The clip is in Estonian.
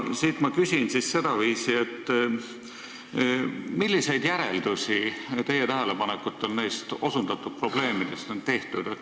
Ma küsin siis sedaviisi: milliseid järeldusi teie tähelepanekute põhjal nendest osutatud probleemidest on tehtud?